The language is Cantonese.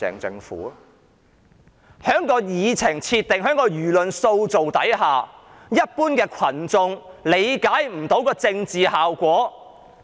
在議程設定及輿論塑造下，一般群眾未能理解政治效果。